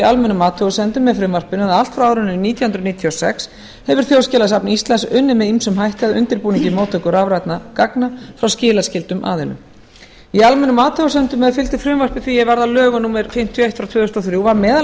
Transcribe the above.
almennum athugasemdum með frumvarpinu að allt frá árinu nítján hundruð níutíu og sex hefur þjóðskjalasafn íslands unnið með ýmsum hætti að undirbúningi móttöku rafrænna gagna frá skilaskyldum aðilum í almennum athugasemdum er fylgdu frumvarpi því er varð að lögum númer fimmtíu og eitt tvö þúsund og þrjú var meðal